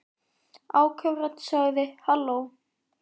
Áköf rödd sagði: Halló?